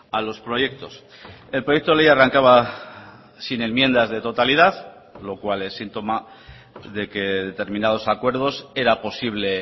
a los proyectos el proyecto de ley arrancaba sin enmiendas de totalidad lo cual es síntoma de que determinados acuerdos era posible